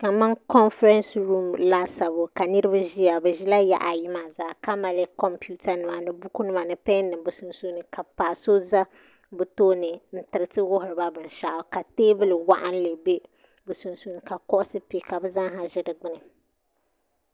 Kamani konfirɛns ruum laasabu ka niraba ʒiya bi ʒila yaɣa ayi maa zaa ka mali kompiuta nima ni buku nima ni pɛn nim bi sunsuuni ka paɣa so ʒɛ bi tooni n tiriti wuhiriba binshaɣu ka teebuli waɣanli ʒɛ bi sunsuuni ka kuɣusi pɛ ka bi zaa ha ʒi di gbuni